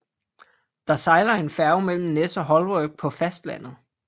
Der sejler en færge mellem Nes og Holwerd på fastlandet